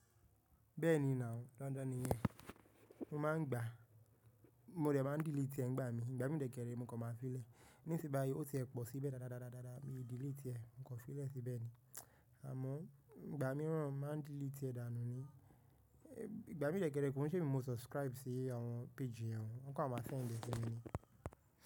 Bẹ́ẹ̀ni now, dandan niyẹn. Mo máa ń gbà, mo dẹ̀ máa ń delete ẹ́ ń gbà mí. Ìgbà mí dẹ́ kẹrẹ, mo kan máan fi lẹ̀. Níṣín báyí ó ti e pọ̀ síbẹ̀ dáadáa dáadáa dáadáa, mi delete ẹ́, mo kọ̀ fi lẹ̀ síbẹ̀ ni. Àmọ́ ìgbà mìíràn máa ń delete ẹ́ dànù ni. Ìgbà mí dẹ́kẹrẹ kòun ṣé mi ni mo subscribe sí àwọn page yẹnu o, wọn kọ̀ máma send ẹ́ sí mi ni.